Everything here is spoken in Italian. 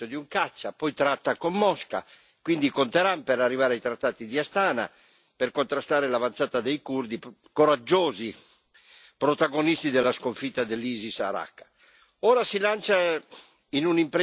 si scontra con la Russia ricordiamo l'abbattimento di un caccia poi tratta con Mosca, quindi con Teheran per arrivare ai trattati di Astana, per contrastare l'avanzata dei curdi, coraggiosi protagonisti della sconfitta dell'Isis a Raqqa.